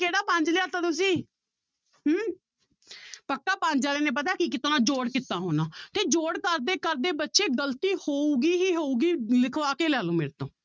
ਕਿਹੜਾ ਪੰਜ ਲਿਆ ਦਿੱਤਾ ਤੁਸੀਂ ਹਮ ਪੱਕਾ ਪੰਜ ਵਾਲਿਆਂ ਨੇ ਪਤਾ ਕੀ ਕੀਤਾ ਹੋਣਾ, ਜੋੜ ਕੀਤਾ ਹੋਣਾ ਤੇ ਜੋੜ ਕਰਦੇ ਕਰਦੇ ਬੱਚੇ ਗ਼ਲਤੀ ਹੋਊਗੀ ਹੀ ਹੋਊਗੀ ਲਿਖਵਾ ਕੇ ਲੈ ਲਓ ਮੇਰੇ ਤੋਂ